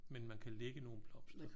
Men man kan lægge nogle blomster?